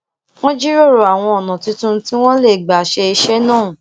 wón jíròrò àwọn ònà tuntun tí wón lè gbà ṣe iṣé náà